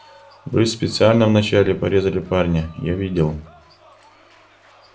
вы специально вначале порезали парня я видел